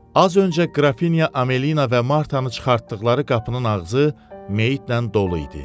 Az öncə Qrafinya Amelina və Martanı çıxartdıqları qapının ağzı meytlə dolu idi.